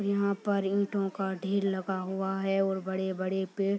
यहां पर इटों का ढेर लगा हुआ है और बड़े-बड़े पेड़ --